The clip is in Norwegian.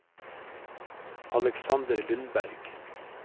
Alexander Lundberg